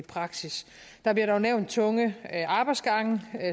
praksis der bliver dog nævnt tunge arbejdsgange